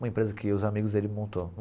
Uma empresa que os amigos dele montou.